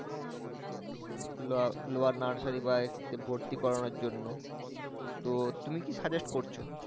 lower nursery বা এতে ভর্তি করানোর জন্য তো তুমি কি suggest করছো?